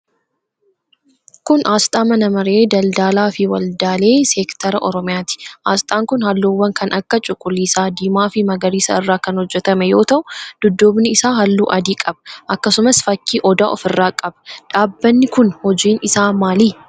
Kun, asxaa mana maree daldalaa fi waldaalee seektaraa oromiyaati. Asxaan kun, haalluuwwan kan akka cuquliisa, diimaa fi magariisa irraa kan hojjatame yoo ta'u, dudduubni isaa haalluu adii qaba akkasumas fakkii odaa of irraa qaba. Dhaabbanni kun hojii isaa maali?